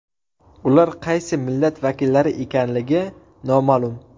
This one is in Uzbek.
Ular qaysi millat vakillari ekanligi noma’lum.